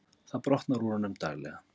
Það brotnar úr honum daglega.